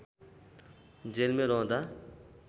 जेलमै रहँदा